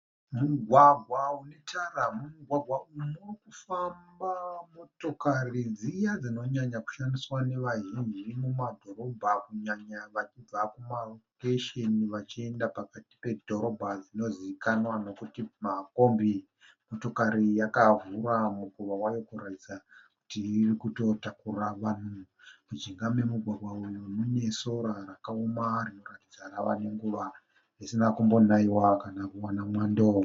Mugwagwa une tara. Mumugwagwa umu muri kufamba motokari dziya dzinonyanya kushandiswa navazhinji mumadhorobha kunyanya vachibva kumarokesheni vachienda pakati pedhorobha dzinozivikanwa nokuti makombi. Motokari iyi yakavhura mukova wayo kuratidza kuti iri kutotakura vanhu. Mujinga memugwagwa uyu mune sora rakaoma rinoratidza rava nenguva risina kumbonaiwa kana kuwana mwando.